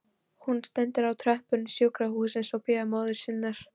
Hún stendur á tröppum sjúkrahússins og bíður móður sinnar.